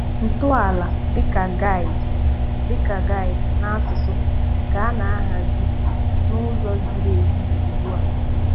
Ntọala dịka GUID dịka GUID na asụsụ ka a na-ahazi n'ụzọ ziri ezi ugbu a.